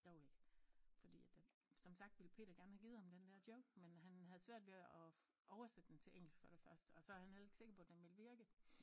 Dog ikke fordi at der som sagt ville Peter gerne havde givet ham den der joke men han havde svært ved at oversætte den til engelsk for det første og så han heller ikke sikker på den ville virke